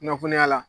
Kunnafoniya la